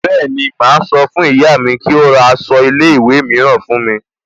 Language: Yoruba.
Bẹ́ẹ̀ni, máa sọ fún ìyá mi kí ó ra aṣọ ilé ìwé mìíràn fún mi